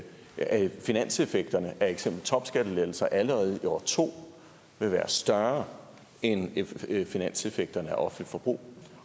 finanseffekterne af topskattelettelser allerede i år to vil være større end finanseffekterne af offentligt forbrug